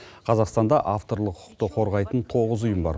қазақстанда авторлық құқықты қорғайтын тоғыз ұйым бар